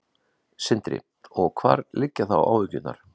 Sindri: Og hvar liggja þá áhyggjurnar?